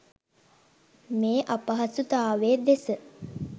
මේ අපහසුතාවය දෙස